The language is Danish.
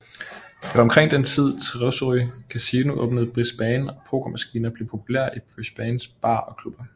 Det var omkring den tid Treasury Casino åbnede i Brisbane og pokermaskiner blev populære i Brisbanes barer og klubber